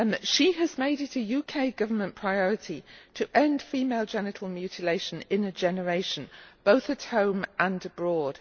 She has made it a UK Government priority to end female genital mutilation in a generation, both at home and abroad.